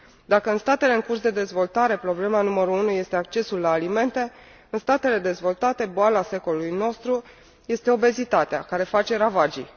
Dacă în statele în curs de dezvoltare problema numărul unu este accesul la alimente, în statele dezvoltate boala secolului nostru este obezitatea, care face ravagii.